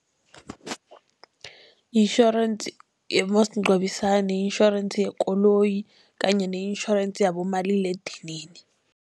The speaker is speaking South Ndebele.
Itjhorensi yomasingcwabisane, ne-insurance yekoloyi kanye ne-insurance yabomaliledinini.